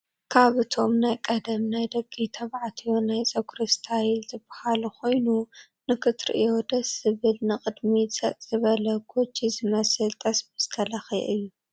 ካብ እቶም ናይ ቀደም ናይ ደቂ ተባዕትዮ ናይ ፀጉሪ እስታይል ዝባህሉ ኮይኑ ንክትርእዮ ደስ ዝብል ንቅዲሚት ሰጥ ዝበለ ጎጂ ዝመስል ጠስሚ ዝተለከየ እዩ።